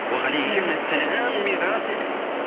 уағалейкумассалям мирас